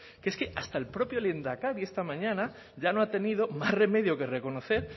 que es que hasta el propio lehendakari esta mañana ya no ha tenido más remedio que reconocer